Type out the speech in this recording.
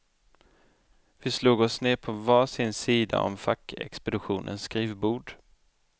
Vi slog oss ner på var sin sida om fackexpeditionens skrivbord.